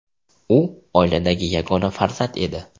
U oiladagi yagona farzand edi.